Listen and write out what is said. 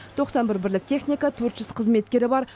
тоқсан бір бірлік техника төрт жүз қызметкері бар